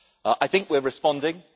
I think we are responding.